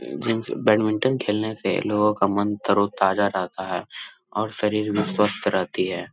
जिनसे बैडमिंटन खेलने से लोगो का मन तारो ताज़ा रहता है और शरीर भी स्वस्थ रहती है।